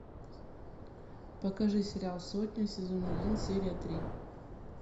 покажи сериал сотня сезон один серия три